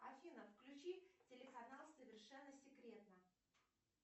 афина включи телеканал совершенно секретно